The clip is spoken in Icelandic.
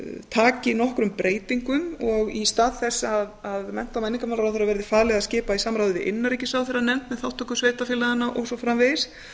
taki nokkrum breytingum og í stað þess að mennta og menningarmálaráðherra verði falið að skipa í samráði við innanríkisráðherra nefnd um þátttöku sveitarfélaganna og svo framvegis